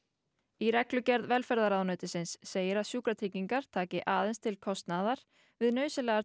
í reglugerð velferðarráðuneytisins segir að sjúkratryggingar taki aðeins til kostnaðar við nauðsynlegar